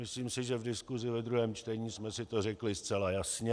Myslím si, že v diskusi ve druhém čtení jsme si to řekli zcela jasně.